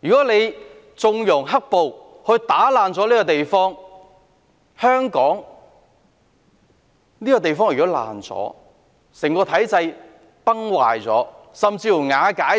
如果有人縱容"黑暴"破壞香港這個地方，令整個體制崩壞，甚至瓦解"